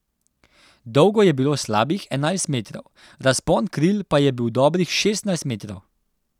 Dolgo je bilo slabih enajst metrov, razpon kril pa je bil dobrih šestnajst metrov.